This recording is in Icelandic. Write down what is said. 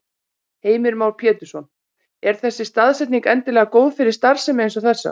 Heimir Már Pétursson: Er þessi staðsetning endilega góð fyrir starfsemi eins og þessa?